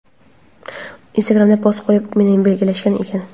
Instagram’da post qo‘yib, meni belgilashgan ekan.